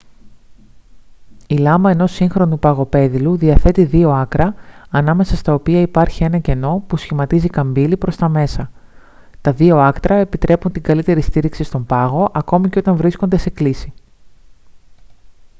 η λάμα ενός σύγχρονου παγοπέδιλου διαθέτει δύο άκρα ανάμεσα στα οποία υπάρχει ένα κενό που σχηματίζει καμπύλη προς τα μέσα τα δύο άκρα επιτρέπουν καλύτερη στήριξη στον πάγο ακόμη και όταν βρίσκονται σε κλίση